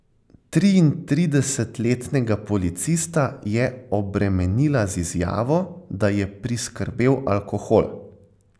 Triintridesetletnega policista je obremenila z izjavo, da je priskrbel alkohol.